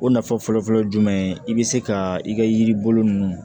O nafa fɔlɔfɔlɔ ye jumɛn ye i bɛ se ka i ka yiri bolo ninnu